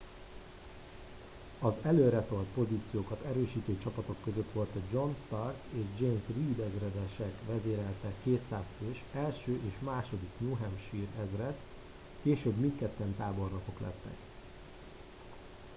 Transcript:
az előretolt pozíciókat erősítő csapatok között volt a john stark és james reed ezredesek vezérelte 200 fős 1. és 2. new hampshire ezred később mindketten tábornokok lettek